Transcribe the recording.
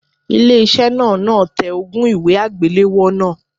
Ilé iṣẹ́ náà náà tẹ ogún un ìwé àgbélọ́wọ́ náà.